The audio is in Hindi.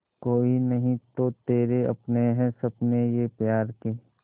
कोई नहीं तो तेरे अपने हैं सपने ये प्यार के